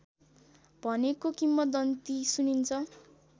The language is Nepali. भनेको किमबदन्ती सुनिन्छ